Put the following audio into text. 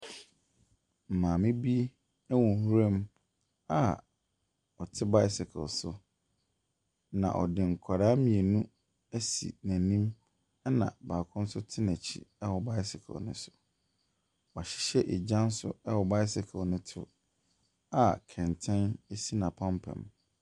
Maame bi wɔ nwiram a ɔte bicycle so, na ɔde nkwadaa mmienu asi n'anim, ɛna baako nso te n'akyi wɔ bicycle no so. Wahyɛ egya nso wɔ bicycle no to a kɛntɛn si n'apampam.